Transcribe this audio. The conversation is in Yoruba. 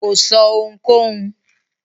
Kò sọ́ ohunkóhun.